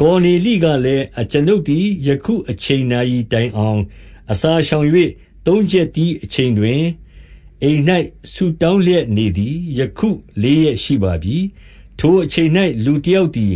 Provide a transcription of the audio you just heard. ကော်နေလိကလည်း၊ အကျွန်ုပ်သည် ယခု အချိန် နာရီတိုင်အောင် အစာရှောင်၍ သုံးချက်တီး အချိန်တွင် အိမ်၌ဆုတောင်းလျက် နေသည်၊ ယခု လေးရက်ရှိပါပြီ။ ထိုအချိန်၌ လူတယောက်သည်